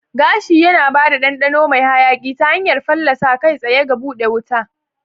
Gashi yana ba da ɗanɗano mai hayaƙi ta hanyar fallasa kai tsaye ga buɗe wuta.